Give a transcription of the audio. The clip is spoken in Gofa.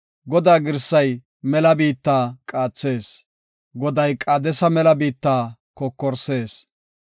Godaa girsay mela biittaa qaathees; Goday Qaadesa mela biittaa kokorsees.